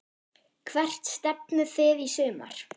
Hvert stefnið þið í sumar?